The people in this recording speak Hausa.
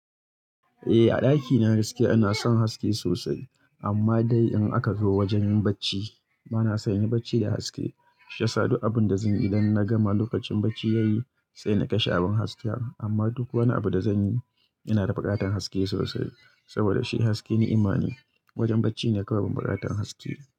Eh, a ɗakina gaskia ina son haske sosai. Amma dai in aka zo wajen yin bacci bana son inyi bacci da haske. Shiyasa duk abin da zan yi idan na gama lokacin bacci yayi, sai na kashe abun hasken. Amma duk wani abu da zan yi ina da buƙatan haske sosai saboda shi haske ni'ima ne. Wajen bacci ne kawai ban buƙatan haske.